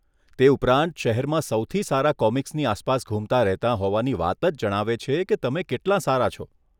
તે ઉપરાંત, શહેરમાં સૌથી સારા કોમિક્સની આસપાસ ઘૂમતા રહેતાં હોવાની વાત જ જણાવે છે કે તમે કેટલાં સારા છો?